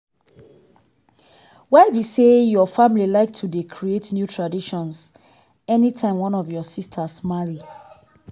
why be say your family like to dey create new traditions any time one of your sistas marry?